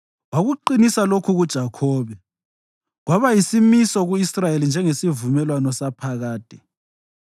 Wakuqinisa lokhu kuJakhobe kwaba yisimiso ku-Israyeli njengesivumelwano saphakade: